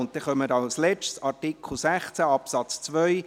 Als Letztes kommen wir zum Artikel 16 Absatz 2.